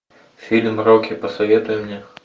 фильм рокки посоветуй мне